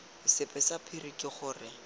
sebe sa phiri ke gore